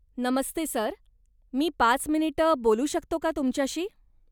नमस्ते sir, मी पाच मिनिटं बोलू शकतो का तुमच्याशी?